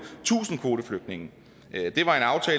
tusind kvoteflygtninge